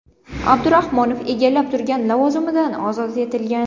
Abdurahmonov egallab turgan lavozimidan ozod etilgan.